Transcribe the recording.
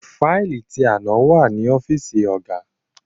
Faili ti àná wà ní ọ́fíìsì ọ̀gá.